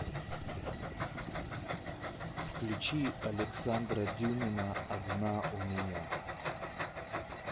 включи александра дюмина одна у меня